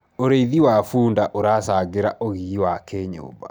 ũrĩithi wa bunda uracangira ugii wa kĩnyumba